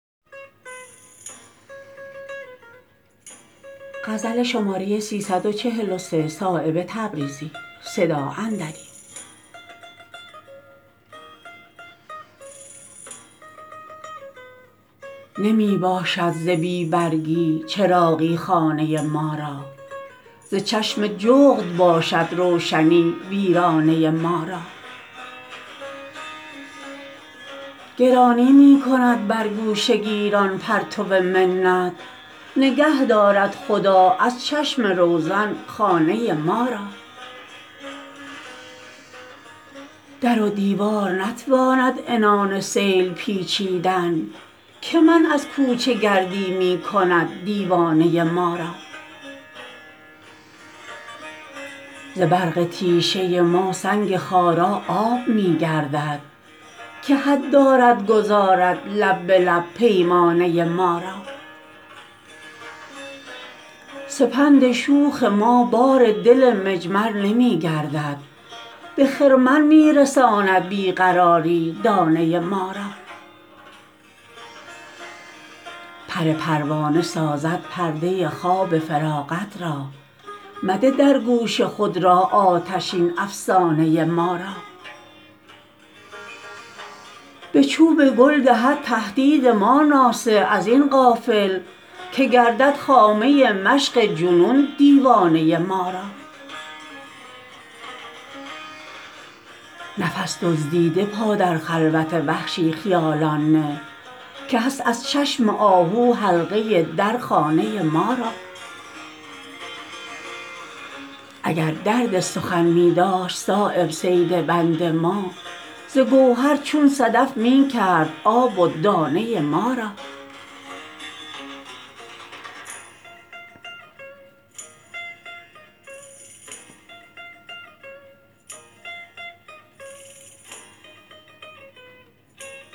نمی باشد ز بی برگی چراغی خانه ما را ز چشم جغد باشد روشنی ویرانه ما را گرانی می کند بر گوشه گیران پرتو منت نگه دارد خدا از چشم روزن خانه ما را در و دیوار نتواند عنان سیل پیچیدن که منع از کوچه گردی می کند دیوانه ما را ز برق تیشه ما سنگ خارا آب می گردد که حد دارد گذارد لب به لب پیمانه ما را سپند شوخ ما بار دل مجمر نمی گردد به خرمن می رساند بی قراری دانه ما را پر پروانه سازد پرده خواب فراغت را مده در گوش خود راه آتشین افسانه ما را به چوب گل دهد تهدید ما ناصح ازین غافل که گردد خامه مشق جنون دیوانه ما را نفس دزدیده پا در خلوت وحشی خیالان نه که هست از چشم آهو حلقه در خانه ما را اگر درد سخن می داشت صایب صید بند ما ز گوهر چون صدف می کرد آب و دانه ما را